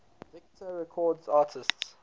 victor records artists